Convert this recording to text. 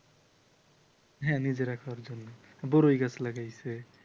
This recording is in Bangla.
হ্যাঁ নিজেরা খাওয়ার জন্য বড়ই গাছ লাগিয়েছে ।